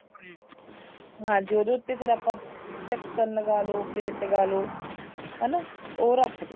ਹਾਂਜੀ ਉਹਦੇ ਉੱਤੇ ਫ਼ੇਰ ਆਪਾਂ ਢੱਕਣ ਲਗਾਲੋ ਪਲੇਟ ਲਗਾਲੋ ਹਨਾ ਉਹ ਰੱਖਦੋ